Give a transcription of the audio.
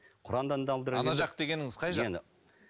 құраннан да ана жақ дегеніңіз қай жақ